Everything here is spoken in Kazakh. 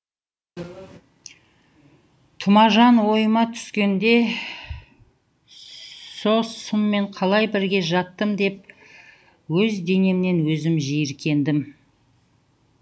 тұмажан ойыма түскенде сол сұммен қалай бірге жаттым деп өзденемнен өзім жиіркендім